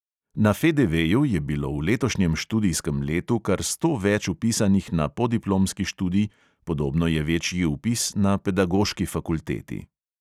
Na FDVju je bilo v letošnjem študijskem letu kar sto več vpisanih na podiplomski študij, podobno je večji vpis na pedagoški fakulteti.